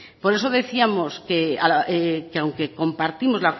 por eso decíamos que aunque compartimos